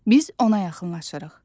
Biz ona yaxınlaşırıq.